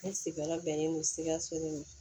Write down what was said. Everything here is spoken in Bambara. Ne sigiyɔrɔ bɛnnen don sikaso ma